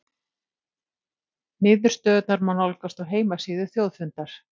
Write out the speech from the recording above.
Niðurstöðurnar má nálgast á heimasíðu Þjóðfundar